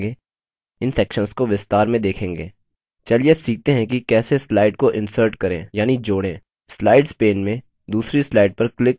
चलिए अब सीखते हैं कि कैसे slide को insert करें यानि जोड़ें slides pane में दूसरी slide पर क्लिक करके उसे चुनें